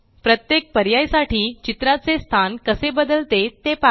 प्रत्येक पर्याय साठी चित्राचे स्थान कसे बदलते ते पहा